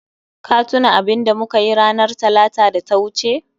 Ka tuna abinda mukayi ranar Talata da ta wuce?